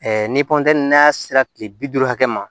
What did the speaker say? ni n'a sera kile bi duuru hakɛ ma